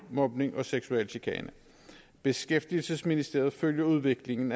mobning og seksuel chikane beskæftigelsesministeriet følger udviklingen